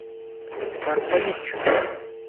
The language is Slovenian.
Car pa nič.